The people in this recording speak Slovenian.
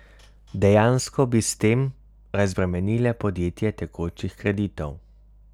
Dejansko bi s tem razbremenile podjetje tekočih kreditov.